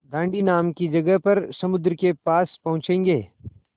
दाँडी नाम की जगह पर समुद्र के पास पहुँचेंगे